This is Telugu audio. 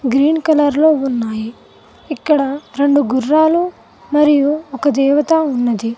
గ్రీన్ కలర్ లో ఉన్నాయి ఇక్కడ రెండు గుర్రాలు మరియు ఒక దేవత ఉన్నది.